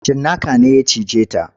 Cinnaka ne ya cije ta.